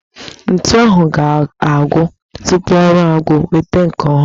Ntu ahụ ga-agwụ tupu ọrụ agwụ, weta nke ọhụrụ